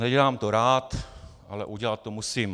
Nedělám to rád, ale udělat to musím.